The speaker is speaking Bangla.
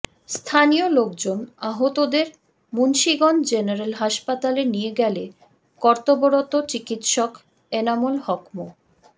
স্থানীয় লোকজন আহতদের মুন্সীগঞ্জ জেনারেল হাসপাতালে নিয়ে গেলে কর্তব্যরত চিকিৎসক এনামুল হক মো